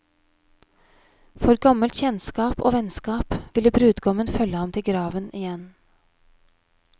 For gammelt kjennskap og vennskap ville brudgommen følge ham til graven igjen.